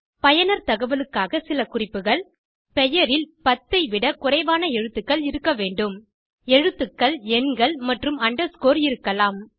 பயனர் தகவலுக்கான சில குறிப்புகள் பெயரில் பத்தை விட குறைவான எழுத்துகள் இருக்க வேண்டும் எழுத்துக்கள் எண்கள் மற்றும் அண்டர்ஸ்கோர் இருக்கலாம்